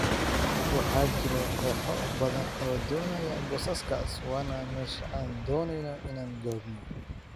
Waxaa jira kooxo badan oo doonaya boosaskaas waana meesha aan dooneyno inaan joogno.""